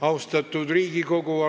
Austatud Riigikogu!